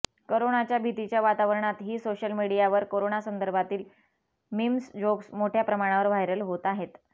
करोनाच्या भीतीच्या वातावरणात ही सोशल मीडियावर करोनासंदर्भातील मिम्स जोक्स मोठ्या प्रमाणावर व्हायरल होत आहेत